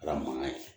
Kɛra mankan ye